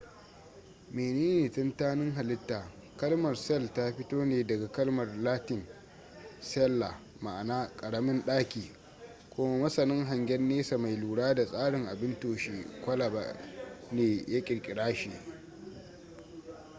menene tantanin halitta kalmar cell ta fito ne daga kalmar latin cella ma'ana ƙaramin ɗaki kuma masanin hangen nesa mai lura da tsarin abin toshe kwalaba ne ya ƙirƙira shi